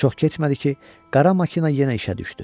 Çox keçmədi ki, qara makina yenə işə düşdü.